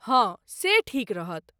हँ, से ठीक रहत।